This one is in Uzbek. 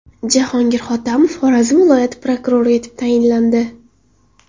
Jahongir Hotamov Xorazm viloyati prokurori etib tayinlandi.